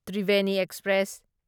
Triveni express